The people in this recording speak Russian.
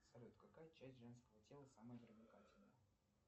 салют какая часть женского тела самая привлекательная